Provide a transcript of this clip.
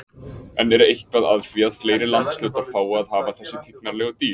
En er eitthvað að því að fleiri landshlutar fái að hafa þessi tignarlegu dýr?